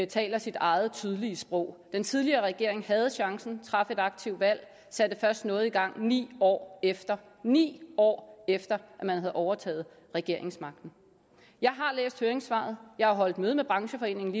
taler sit eget tydelige sprog den tidligere regering havde chancen traf et aktivt valg satte først noget i gang ni år efter ni år efter at man havde overtaget regeringsmagten jeg har læst høringssvaret jeg har holdt møde med brancheforeningen